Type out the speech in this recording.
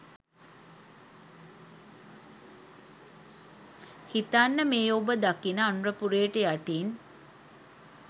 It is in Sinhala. හිතන්න මේ ඔබ දකින අනුරපුරයට යටින්